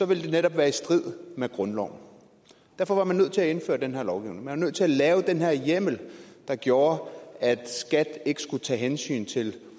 ville det netop være i strid med grundloven derfor var man nødt til at indføre den her lovgivning man var nødt til at lave den her hjemmel der gjorde at skat ikke skulle tage hensyn til